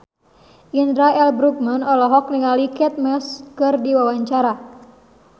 Indra L. Bruggman olohok ningali Kate Moss keur diwawancara